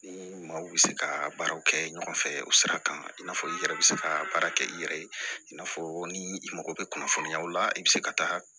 Ni maaw bɛ se ka baaraw kɛ ɲɔgɔn fɛ o sira kan i n'a fɔ i yɛrɛ bɛ se ka baara kɛ i yɛrɛ ye i n'a fɔ ni i mago bɛ kunnafoniyaw la i bɛ se ka taa